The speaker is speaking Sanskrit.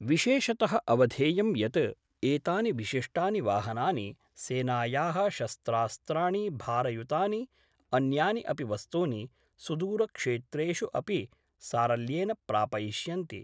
विशेषतः अवधेयं यत् एतानि विशिष्टानि वाहनानि सेनायाः शस्त्रास्त्राणि, भारयुतानि, अन्यानि अपि वस्तूनि, सुदूरक्षेत्रेषु अपि सारल्येन प्रापयिष्यन्ति।